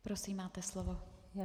Prosím, máte slovo.